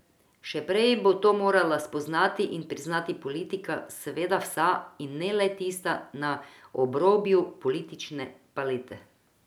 Še prej bo to morala spoznati in priznati politika, seveda vsa, in ne le tista na obrobju politične palete.